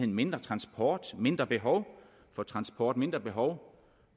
mindre transport mindre behov for transport mindre behov